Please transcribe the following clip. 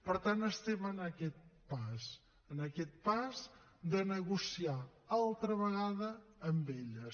per tant estem en aquest pas en aquest pas de negociar altra vegada amb elles